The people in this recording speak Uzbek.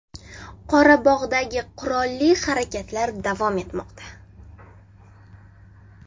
Qorabog‘dagi qurolli harakatlar davom etmoqda.